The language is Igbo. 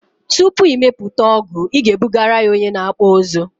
Tupu ị mepụta ọgụ ị ga ebugara ya onye na akpụ ụzụ